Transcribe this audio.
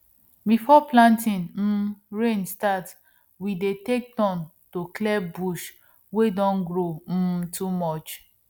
before planting um rain start we dey take turn to clear bush wey don grow um too much